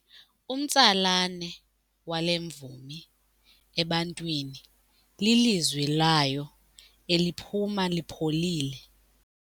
Umtsalane wale mvumi ebantwini lilizwi layo eliphuma lipholile.